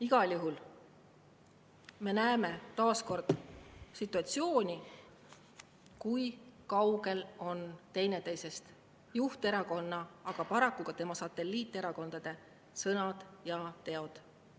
Igal juhul me näeme taas, kui kaugel on teineteisest juhterakonna ja paraku ka tema satelliiterakondade sõnad ja teod.